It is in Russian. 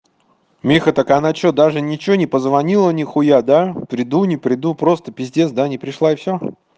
миха так она что даже ничего не позвонила нихуя да приду не приду просто пиздец да не пришла и всё